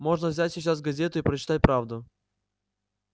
можно взять сейчас газету и прочитать правду